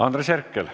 Andres Herkel.